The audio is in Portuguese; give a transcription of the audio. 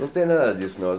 Não tem nada disso, não.